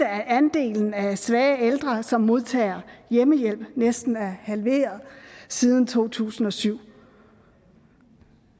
at andelen af svage ældre som modtager hjemmehjælp næsten er halveret siden to tusind og syv